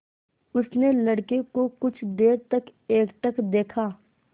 उसने लड़के को कुछ देर तक एकटक देखा